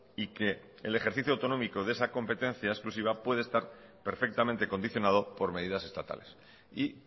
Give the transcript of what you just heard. y que el ejercicio autonómico de esa competencia exclusiva puede estar perfectamente condicionado por medidas estatales y